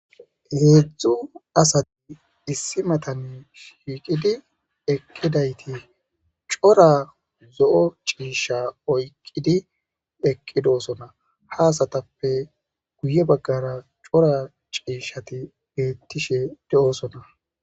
heedzdzu asati issi metane shiiqidi eqkidayti cora zo7o ciisha oyqqidi eqqidosona ha asatappe guye baggara cora ciishshati beettishe de7osona